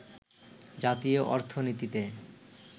জাতীয় অর্থনীতিতে